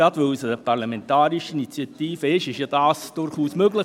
Gerade weil es eine parlamentarische Initiative ist, wäre dies ja durchaus möglich.